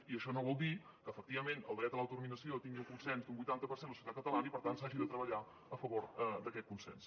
i això no vol dir que efectivament el dret a l’autodeterminació tingui un consens d’un vuitanta per cent a la societat catalana i per tant s’hagi de treballar a favor d’aquest consens